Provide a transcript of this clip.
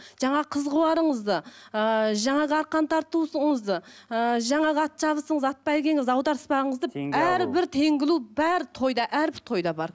жаңағы қыз қуарыңызды ыыы жаңағы арқан тартуыңызды ыыы жаңағы ат жарысыңыз ат бәйгеңіз аударыспағыңызды әрбір теңге алу бәрі тойда әрбір тойда бар